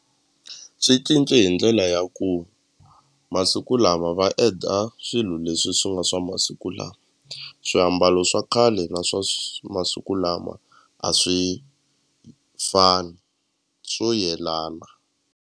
Swi cince hi ndlela ya ku masiku lama va add-a swilo leswi swi nga swa masiku lama swiambalo swa khale na swa masiku lama a swi fani swo yelana.